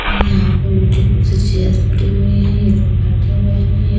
और यहां पे ब्यूटीफुल सी चेयर्स पड़ी हुई है ये लोग बैठे हुए हैं।